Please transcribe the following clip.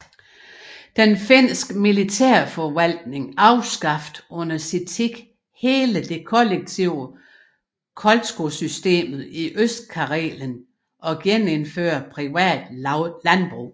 Den Finske Militærforvaltning afskaffede under sin tid hele det kollektive kolchossystemet i Østkarelen og genindførte private landbrug